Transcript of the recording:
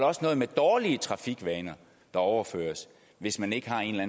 også noget med dårlige trafikvaner der overføres hvis man ikke har en eller